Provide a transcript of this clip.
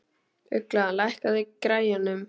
Ugla, lækkaðu í græjunum.